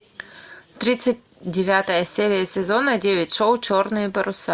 тридцать девятая серия сезона девять шоу черные паруса